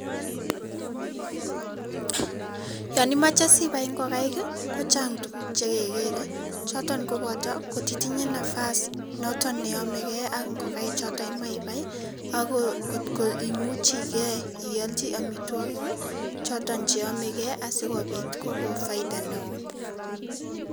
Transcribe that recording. Yon imochei sibai ingokaik ko chang tuguuk chekekeerei, choton koboto kotitinyei nafas neyomeki ako ngokaik choto imoche ibai ako ngot kimuchikei ialchi amitwokik choto cheyamekei asikopit kokon faida neo.